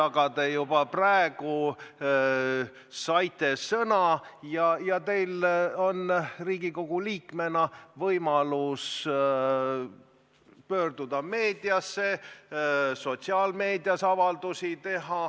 Aga te juba praegu saite sõna ja teil on Riigikogu liikmena võimalus pöörduda meediasse ning sotsiaalmeedias avaldusi teha.